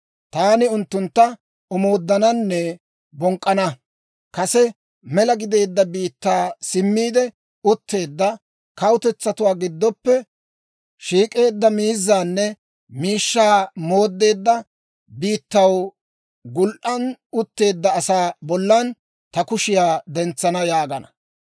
Taani unttuntta omooddananne bonk'k'ana; kase mela gideedda biittaa simmiide utteedda, kawutetsatuwaa giddoppe shiik'eedda, miizzaanne miishshaa mooddeedda, biittaw gul"an utteedda asaa bollan ta kushiyaa dentsana yaagana.